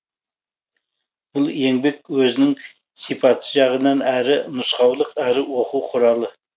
бұл еңбек өзінің сипаты жағынан әрі нұсқаулық әрі оқу құралы